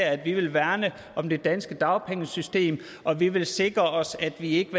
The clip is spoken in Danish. at vi vil værne om det danske dagpengesystem og at vi vil sikre os at vi ikke